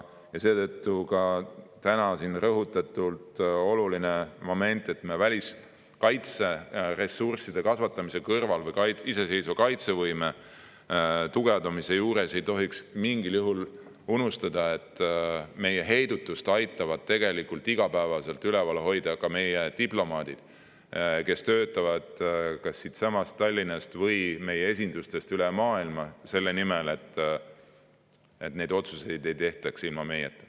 Seetõttu on ka täna siin vaja rõhutada olulist momenti: oma kaitseressursside kasvatamise või iseseisva kaitsevõime tugevdamise kõrval ei tohi me mingil juhul unustada, et meie heidutust aitavad tegelikult iga päev üleval hoida ka meie diplomaadid, kes töötavad kas siitsamast Tallinnast või meie esindustest üle maailma selle nimel, et otsuseid ei tehtaks ilma meieta.